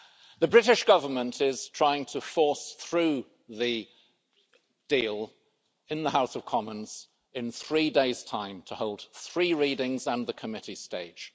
The British Government is trying to force through the deal in the House of Commons in three days' time, to hold three readings and the committee stage.